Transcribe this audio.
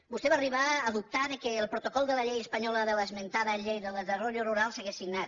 vostè va arribar a dubtar que el protocol de la llei espanyola de l’esmentada llei del desarrollo rurals’hagués signat